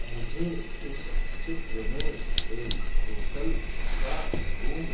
मुझे इस चित्र में एक होटल का रूम --